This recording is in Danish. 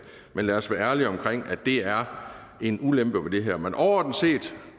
men lad os være ærlige omkring at det er en ulempe ved det her men overordnet set